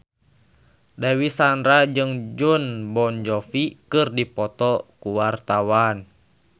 Dewi Sandra jeung Jon Bon Jovi keur dipoto ku wartawan